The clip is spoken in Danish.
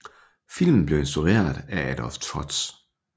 Filmen blev instrueret af Adolf Trotz